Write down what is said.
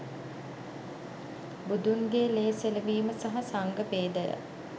බුදුන්ගේ ලේ සෙලවීම සහ සංඝ භේදය